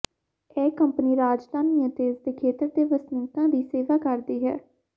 ਇਹ ਕੰਪਨੀ ਰਾਜਧਾਨੀ ਅਤੇ ਇਸਦੇ ਖੇਤਰ ਦੇ ਵਸਨੀਕਾਂ ਦੀ ਸੇਵਾ ਕਰਦੀ ਹੈ